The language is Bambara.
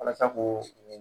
Walasa k'o